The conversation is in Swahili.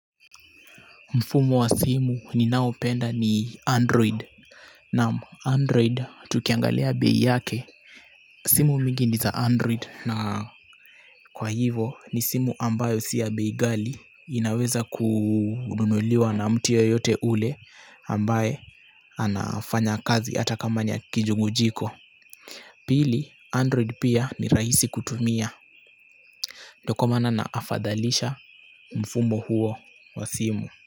Mfumo wa simu ninaopenda ni Android na Android tukiangalia bei yake simu mingi ni za Android na kwa hivo ni simu ambayo si ya bei ghali inaweza kununuliwa na mtu yoyote ule ambaye anafanya kazi hata kama ni ya kijungujiko pili android pia ni rahisi kutumia ndo kwa maana nahafadhalisha mfumo huo wa simu.